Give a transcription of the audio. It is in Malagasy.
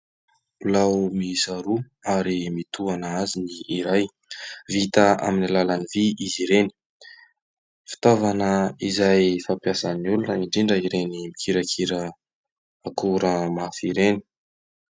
Bilao miisa roa ary mitohana azy ny iray. Vita amin'ny àlalan'ny vy izy ireny. Fitaovana izay fampiasan'ny olona indrindra ireny mikirakira akora mafy ireny.